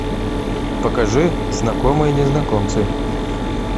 покажи знакомые незнакомцы